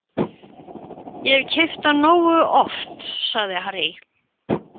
Ég hef keypt hann nógu oft, sagði Harry.